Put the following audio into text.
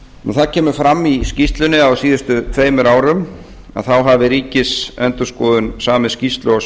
það kemur fram í skýrslunni að á síðustu tveimur árum hafi ríkisendurskoðun samið skýrslu á